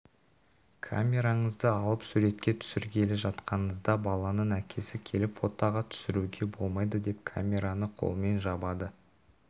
камераңызды алып суретке түсіргелі жатқаныңызда баланың әкесі келіп фотоға түсіруге болмайды деп камераны қолымен жабады